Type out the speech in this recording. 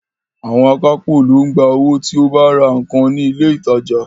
Àwọn akápò ló ń gba owó tí o bá ra nǹkan ní ilé ìtajà ńlá